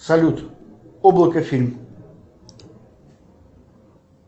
салют облако фильм